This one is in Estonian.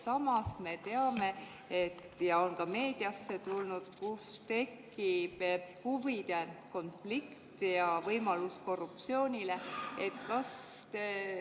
Samas me teame, see on ka meediasse jõudnud, et võib tekkida huvide konflikt ja korruptsiooni võimalus.